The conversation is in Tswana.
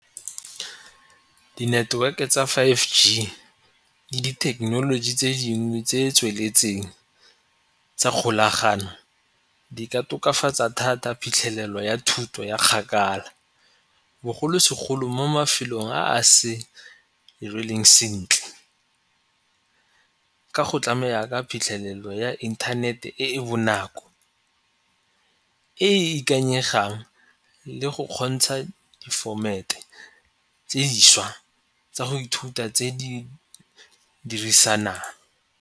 Di-network-e tsa five G le dithekenoloji tse dingwe tse tsweletseng tsa kgolagano di ka tokafatsa thata phitlhelelo ya thuto ya kgakala bogolosegolo mo mafelong a se sentle ka go tlamela ka phitlhelelo ya inthanete e e bonako e e ikanyegang le go kgontsha di-format-e tse dišwa tsa go ithuta tse di dirisanang.